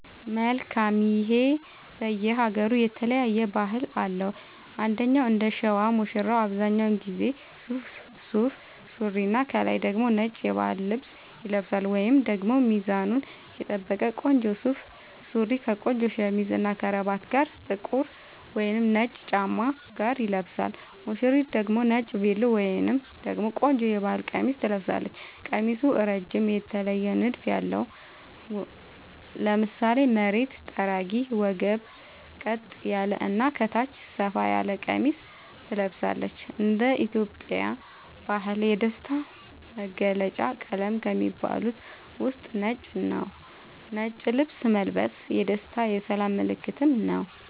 መልካም ይሄ በየ ሃገሩ የተለያየ ባህል አለው እንደኛ እንደሸዋ ሙሽራው አብዛኛውን ጊዜ ሱፍ ሱሪና ከላይ ደግሞ ነጭ የባህል ልብስ ይለብሳልወይንም ደግሞ ሚዛኑን የጠበቀ ቆንጆ ሱፍ ሱሪ ከቆንጆ ሸሚዝ እና ከረባት ጋር ጥቁር ወይም ነጭ ጫማ ጋር ይለብሳል ሙሽሪት ደግሞ ነጭ ቬሎ ወይም ደግሞ ቆንጆ የባህል ቀሚስ ትለብሳለች ቀሚሱ እረጅም የተለየ ንድፍ ያለው ( ለምሳሌ መሬት ጠራጊ ወገብ ቀጥ ያለ እና ከታች ሰፋ ያለ ቀሚስ ትለብሳለች )እንደ ኢትዮጵያ ባህል የደስታ መገልውጫ ቀለም ከሚባሉት ውስጥ ነጭ ነዉ ነጭ ልብስ መልበስ የደስታ የሰላም ምልክትም ነዉ